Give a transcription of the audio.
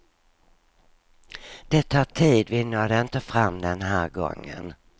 Det tar tid, vi nådde inte fram den här gången.